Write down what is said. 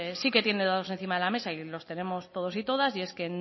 sí que tiene dados encima de la mesa los tenemos todos y todas y es que